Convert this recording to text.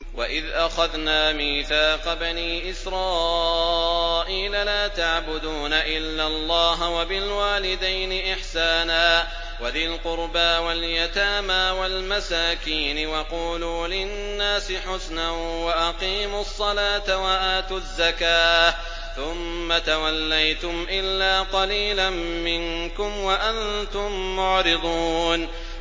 وَإِذْ أَخَذْنَا مِيثَاقَ بَنِي إِسْرَائِيلَ لَا تَعْبُدُونَ إِلَّا اللَّهَ وَبِالْوَالِدَيْنِ إِحْسَانًا وَذِي الْقُرْبَىٰ وَالْيَتَامَىٰ وَالْمَسَاكِينِ وَقُولُوا لِلنَّاسِ حُسْنًا وَأَقِيمُوا الصَّلَاةَ وَآتُوا الزَّكَاةَ ثُمَّ تَوَلَّيْتُمْ إِلَّا قَلِيلًا مِّنكُمْ وَأَنتُم مُّعْرِضُونَ